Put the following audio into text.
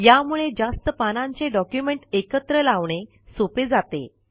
यामुळे जास्त पानांचे डॉक्युमेंट एकत्र लावणे सोपे जाते